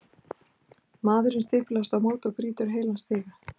Maðurinn stimpast á móti og brýtur heilan stiga!